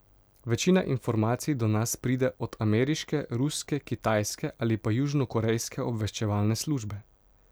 Večina informacij do nas pride od ameriške, ruske, kitajske ali pa južnokorejske obveščevalne službe.